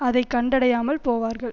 அதை கண்டடையாமல் போவார்கள்